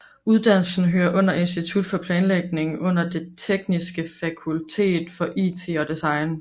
Uddannelsen hører under Institut for Planlægning under det Det Tekniske Fakultet for IT og Design